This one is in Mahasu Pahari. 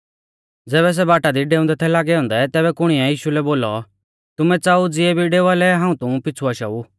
ज़ैबै सै बाटा दी डेऊंदै थै लागै औन्दै तैबै कुणीऐ यीशु लै बोलौ तुमै च़ाऊ ज़ियै भी डेवा लै हाऊं तुमु पिछ़ु आशाऊ